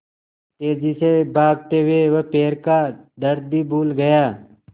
तेज़ी से भागते हुए वह पैर का दर्द भी भूल गया